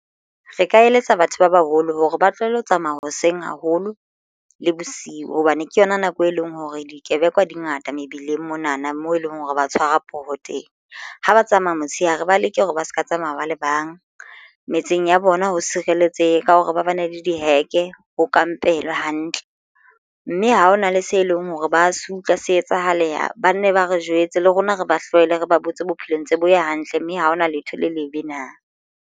Re ka eletsa batho ba baholo hore ba tlohelle ho tsamaya hoseng haholo le bosiu hobane ke yona nako e leng hore dikebekwa dingata mebileng mona na moo eleng hore ba tshwara poho teng ha ba tsamaya motshehare ba leke hore ba ska tsamaya ba le bang metseng ya bona ho sireletsehe ka hore ba bane le diheke ho kampelwe hantle mme ha hona le se leng hore ba se utlwa se etsahale ha ba nne ba re jwetse le rona re ba hlwele re ba botse bophelo ntse bo ya hantle mme ha hona letho le lebe na.